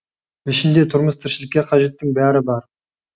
ішінде тұрмыс тіршілікке қажеттің бәрі бар